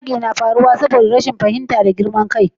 yaƙi na faruwa saboda rashin fahimta da girman kai